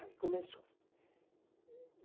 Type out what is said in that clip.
Aí começou.